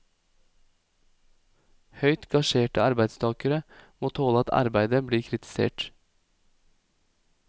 Høyt gasjerte arbeidstagere må tåle at arbeidet blir kritisert.